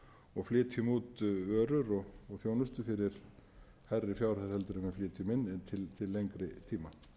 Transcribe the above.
og flytjum út vörur og þjónustu fyrir hærri fjárhæð heldur en við flytjum inn en til lengri tíma